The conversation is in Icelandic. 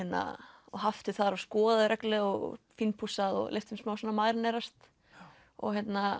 og haft þau þar og skoðað þau reglulega og fínpússað og leyft þeim smá að marinerast og